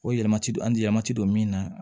O yɛlɛma ti don an ti yɛlɛma ti don min na